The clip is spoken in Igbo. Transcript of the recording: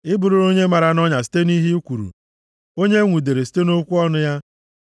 ị bụrụla onye mara nʼọnya site nʼihe ị kwuru, onye enwudere site nʼokwu ọnụ ya.